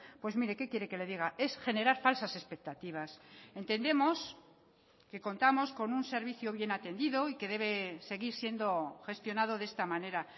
pues mire qué quiere que le diga es generar falsas expectativas entendemos que contamos con un servicio bien atendido y que debe seguir siendo gestionado de esta manera